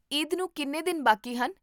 ਈਦ ਨੂੰ ਕਿੰਨੇ ਦਿਨ ਬਾਕੀ ਹਨ?